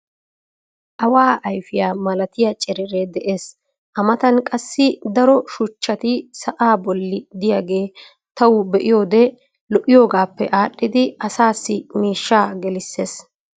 Awa ayfiya malattiya cereree des. a matan qassi daro shuchchati sa'aa boli diyagee tawu be'iyode lo'iyogaappe aadhidi asaassi miishshaa gelisees.